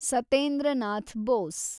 Satyendra Nath Bose